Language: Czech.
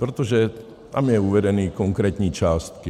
Protože tam jsou uvedeny konkrétní částky.